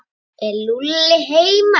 Er Lúlli heima?